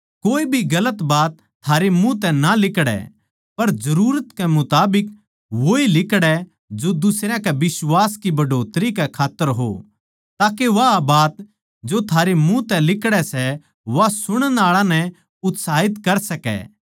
कोए भी गलत बात थारै मुँह तै ना लिकड़ै पर जरुरत कै मुताबिक वोए लिकड़ै जो दुसरयां के बिश्वास की बढ़ोतरी कै खात्तर हो ताके वा बात जो थारे मुँह तै लिकड़ै सै वा सुणन आळा नै उत्साहित कर सकै